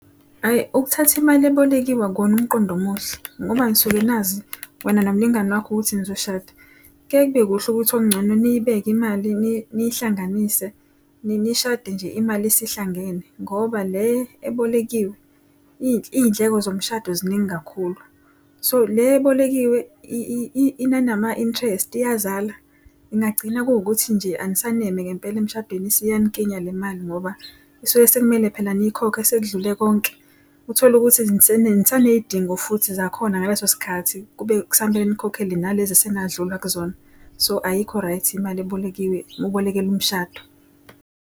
Hhayi ukuthatha imali ebolekiwe akuwona umqondo omuhle, ngoba nisuke nazi wena nomlingani wakho ukuthi nizoshada. Kuyaye kube kuhle ukuthi okungcono niyibeka imali nihlanganise nishade nje imali isihlangene, ngoba le ebolekiwe iy'ndleko zomshado ziningi kakhulu. So le ebolekiwe inanama-interest, iyazala. Ingagcina kuwukuthi nje anisaneme ngempela emshadweni isiyanikinya le mali ngoba isuke sekumele phela niyikhokhe sekudlule konke. Utholukuthi nisaney'dingo futhi zakhona ngaleso sikhathi, kube kusamele nikhokhele nalezi esenadlula kuzona. So ayikho right imali ebolekiwe uma ubolekela umshado.